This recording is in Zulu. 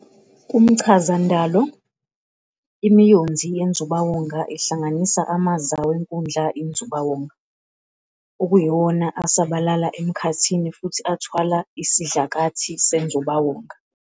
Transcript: Kumchazandalo, imiyonzi yenzubawonga ihlanganisa amaza wenkundla yenzubawonga, okuyiwona asabalala emkhathini futhi athwala isidlakathi senzubawonga.